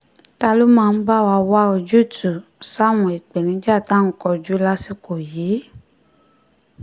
ta ló máa bá wa wá ojúùtú sáwọn ìpèníjà tá à ń kojú lásìkò yìí